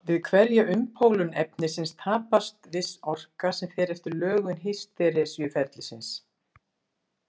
Við hverja umpólun efnisins tapast viss orka sem fer eftir lögun hýsteresuferilsins.